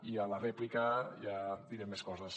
i a la rèplica ja direm més coses